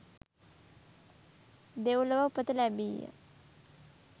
දෙව්ලොව උපත ලැබීය.